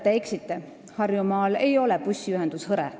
Te eksite, Harjumaal ei ole bussiühendus hõre.